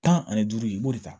Tan ani duuru i b'o de ta